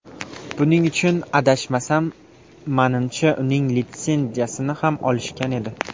Buning uchun adashmasam, manimcha uning litsenziyasini ham olishgan edi.